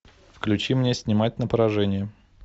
включи мне снимать на поражение